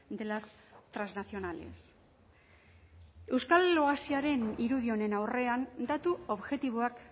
de las trasnacionales euskal oasiaren irudi honen aurrean datu objektiboak